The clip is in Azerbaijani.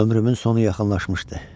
Ömrümün sonu yaxınlaşmışdı.